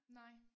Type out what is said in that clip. Nej